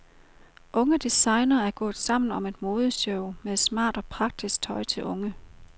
Unge designere er gået sammen om et modeshow med smart og praktisk tøj til unge.